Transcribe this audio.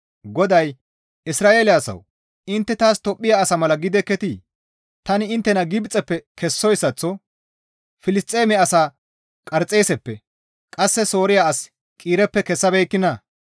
GODAY, «Isra7eele asawu! Intte taas Tophphiya asa mala gidekketii? Tani inttena Gibxeppe kessoyssaththo Filisxeeme asaa Qarxeeseppe qasse Sooriya as Qiireppe kessabeekkinaa?